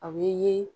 A bɛ ye